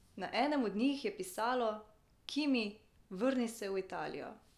Na enem od njih je pisalo: "Kimi, vrni se v Italijo.